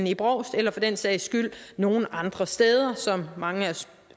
i brovst eller for den sags skyld nogen andre steder som mange af